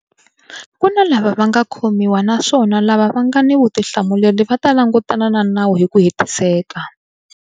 Ku na lava nga khomiwa naswona lava va nga ni vutihlamuleri va ta langutana na nawu hi ku hetiseka.